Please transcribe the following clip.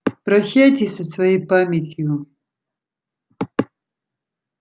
прощайтесь со своей памятью